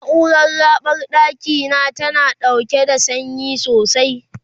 naurar raɓar ɗakina tana ɗaukan sanyi sosai